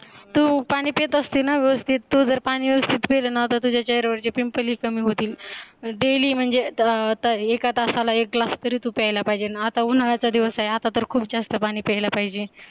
तू पाणी पीत असते ना व्यवस्थित तू जर पाणी व्यवस्थित पीले ना तुझ्या चेहऱ्यावरचे PIMPLE ही कमी होतील daily म्हणजे एका तासाला एक GLASS तरी तू प्यायला पाहिजे ना आता उन्हाळ्याचा दिवस आहे आता तर खूप जास्त पाणी प्यायला पाहिजे